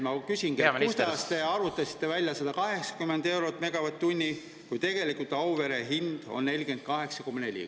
Ma küsingi, kuidas te arvutasite välja 180 eurot megavatt-tund, kui tegelikult on Auvere hind 48,4.